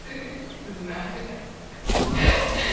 знаю да